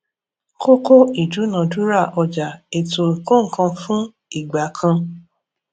kókó ìdúnadúrà ọjà ètò ìkónǹkanfún igbà kan